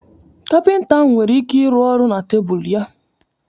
Kapịnta ahụ nwere ike ịrụ ọrụ na tebụl ya